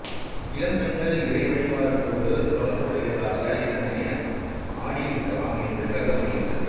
இளம் பெண்கள் இறை வழிபாட்டோடு தொடர்புடையதாக இதனை ஆடியிருக்கலாம் என்று கருதப்படுகின்றது